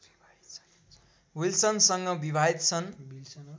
विल्सनसँग विवाहित छन्